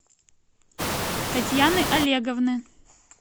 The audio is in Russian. татьяны олеговны